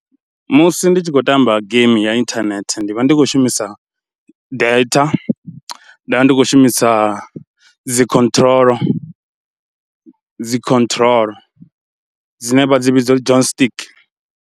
Musi ndi tshi khou tamba geimi ya inthanethe ndi vha ndi khou shumisa data, nda ndi khou shumisa dzi control dzi control dzine vha dzi vhidza uri joystick.